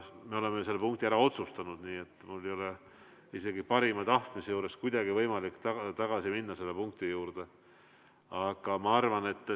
Me oleme selle punkti ära otsustanud, nii et mul ei ole isegi parima tahtmise juures kuidagi võimalik selle punkti juurde tagasi minna.